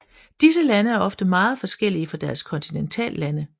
Disse lande er ofte meget forskellige fra deres kontineltallande